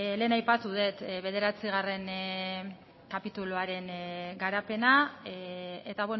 lehen aipatu dut bederatzigarren kapituluaren garapena eta